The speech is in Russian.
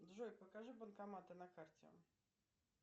джой покажи банкоматы на карте